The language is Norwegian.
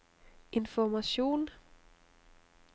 informasjon